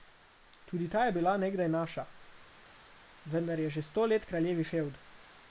Tudi ta je bila nekdaj naša, vendar je že sto let kraljevi fevd.